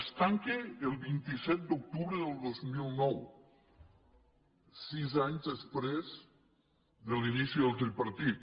es tanca el vint set d’octubre del dos mil nou sis anys després de l’inici del tripartit